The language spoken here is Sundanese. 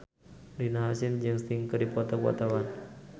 Rina Hasyim jeung Sting keur dipoto ku wartawan